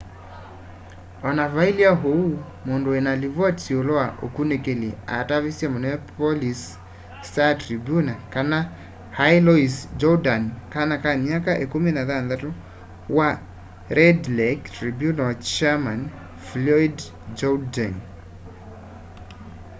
ona vailye uu mundu wina livoti yiulu wa ukunikili atavisye minneapolis star tribune kana ai louis jourdain kana ka myaka 16 wa red lake tribunal chairman floyd jourdain